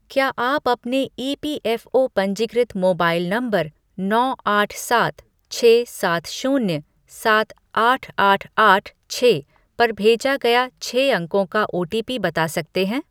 क्या आप अपने ई.पी.एफ़.ओ. पंजीकृत मोबाइल नंबर नौ आठ सात छः सात शून्य सात आठ आठ आठ छह पर भेजा गया छह अंकों का ओटीपी बता सकते हैं ?